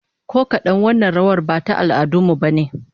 Ko kadan, wannan rawar ba ta al'adun mu bane